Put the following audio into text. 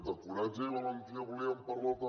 de coratge i valentia en volíem parlar també